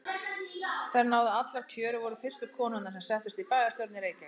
Þær náðu allar kjöri og voru fyrstu konurnar sem settust í bæjarstjórn í Reykjavík.